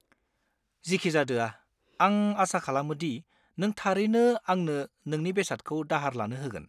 जिखिजादोआ, आं आसा खालामो दि नों थारैनो आंनो नोंनि बेसादखौ दाहार लानो होगोन।